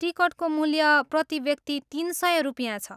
टिकटको मूल्य प्रतिव्यक्ति तिन सय रुपियाँ छ।